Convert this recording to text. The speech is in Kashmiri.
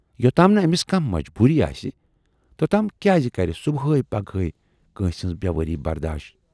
یوتام نہٕ ٲمِس کانہہ مجبوٗری آسہِ، توتام کیازِ کَرِ صُبحے پگَہے کٲنسہِ ہٕنز بیوٲری بَرداش۔